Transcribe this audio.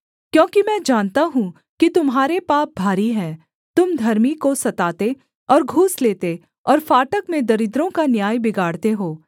क्योंकि मैं जानता हूँ कि तुम्हारे पाप भारी हैं तुम धर्मी को सताते और घूस लेते और फाटक में दरिद्रों का न्याय बिगाड़ते हो